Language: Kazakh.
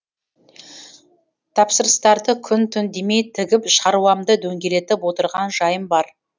тапсырыстарды күн түн демей тігіп шаруамды дөңгелетіп отырған жайым бар